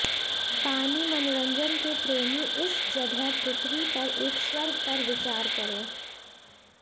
पानी मनोरंजन के प्रेमी इस जगह पृथ्वी पर एक स्वर्ग पर विचार करें